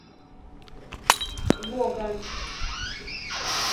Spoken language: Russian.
логан